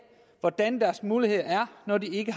hvordan deres muligheder er når de ikke